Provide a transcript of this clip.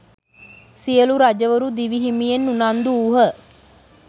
සියලූ රජවරු දිවි හිමියෙන් උනන්දු වූහ